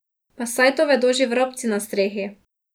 Pa saj to vedo že vrabci na strehi.